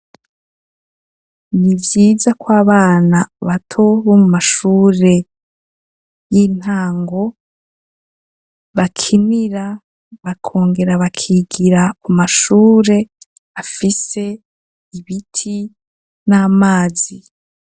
Ni vyiza ko abana bato bo mu mashure y'intango bakinira bakongera bakigira ku mashure afise ibiti n'amazi.